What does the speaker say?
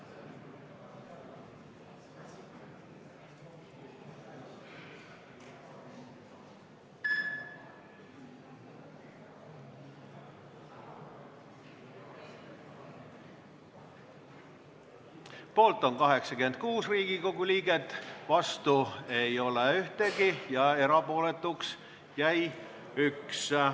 Hääletustulemused Poolt on 86 Riigikogu liiget, vastu ei ole ühtegi ja erapooletuks jäi üks.